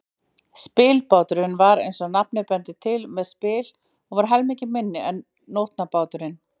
Spilbáturinn var, eins og nafnið bendir til, með spil og var helmingi minni en nótabáturinn.